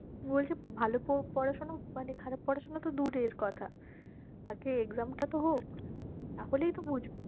বলছে ভালো পো~ পড়াশোনা মানে খারাপ পড়াশোনা তো দূরের কথা আগে exam টা তো হোক তাহলেই তো বুঝবো